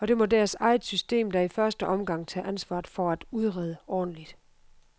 Og det må deres eget system da i første omgang tage ansvaret for at udrede ordentligt.